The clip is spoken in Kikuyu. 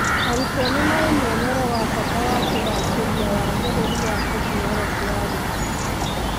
Arutwo nĩmarĩ mwonere wa bata wa kũgacĩria wagĩrĩru wa Tekinoronjĩ ya Gĩthomo.